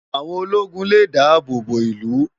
Áwón ólógún lé dàábó bó ilú